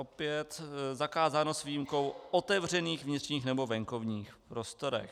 Opět zakázáno s výjimkou otevřených vnitřních nebo venkovních prostorů.